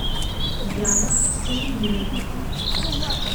яна хамидуллина